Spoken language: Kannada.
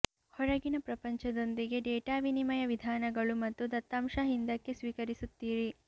ಹೊರಗಿನ ಪ್ರಪಂಚದೊಂದಿಗೆ ಡೇಟಾ ವಿನಿಮಯ ವಿಧಾನಗಳು ಮತ್ತು ದತ್ತಾಂಶ ಹಿಂದಕ್ಕೆ ಸ್ವೀಕರಿಸುತ್ತೀರಿ